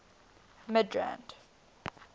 midrand